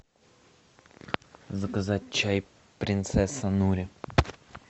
заказать чай принцесса нури